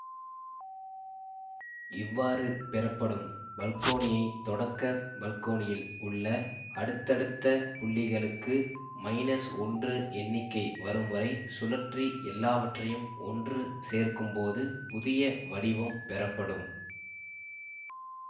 இவ்வாறு பெறப்படும் பல்கோணியை தொடக்க பல்கோணியில் உள்ள அடுத்தடுத்த புள்ளிகளுக்கு ஒன்று எண்ணிக்கை வரும்வரை சுழற்றி எல்லாவற்றையும் ஒன்று சேர்க்கும்போது புதிய வடிவம் பெறப்படும்